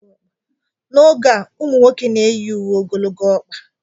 N'oge a, ụmụ nwoke na-eyi uwe ogologo ọkpa